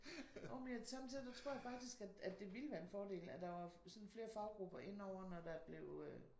Jo men jeg sommetider der tror jeg faktisk at det vil være en fordel at der var sådan flere faggrupper inde over når der blev øh